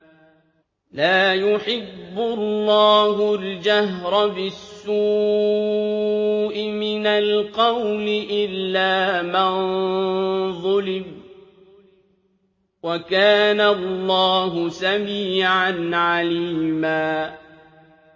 ۞ لَّا يُحِبُّ اللَّهُ الْجَهْرَ بِالسُّوءِ مِنَ الْقَوْلِ إِلَّا مَن ظُلِمَ ۚ وَكَانَ اللَّهُ سَمِيعًا عَلِيمًا